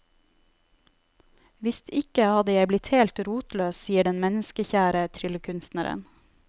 Hvis ikke hadde jeg blitt helt rotløs, sier den menneskekjære tryllekunstneren.